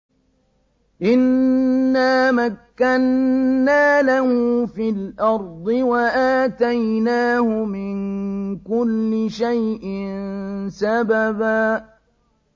إِنَّا مَكَّنَّا لَهُ فِي الْأَرْضِ وَآتَيْنَاهُ مِن كُلِّ شَيْءٍ سَبَبًا